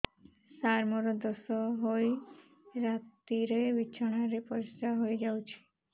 ସାର ମୋର ଦୋଷ ହୋଇ ରାତିରେ ବିଛଣାରେ ପରିସ୍ରା ହୋଇ ଯାଉଛି